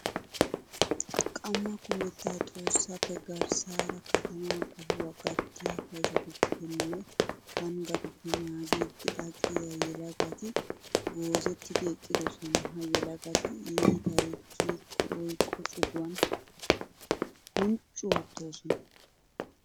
Qammaa kumettaa Xoossappe garssaara katamaa qohuwa gattiya kaysotuppe nne panggatuppe naagiiddi aqiya yelagati goozetti eqqidosona. Ha yelagati iitay kiyikko oyqqo cuguwan hunchchu oottoosona.